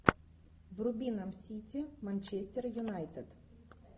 вруби нам сити манчестер юнайтед